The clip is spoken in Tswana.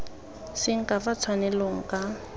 seng ka fa tshwanelong ka